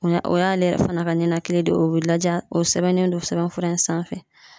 O ya o y'ale yɛrɛ fana ka ninakili de ye o be laja o sɛbɛnnen don sɛbɛn fura in sanfɛ